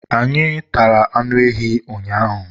anyị tara anụ ehi ụnyaahụ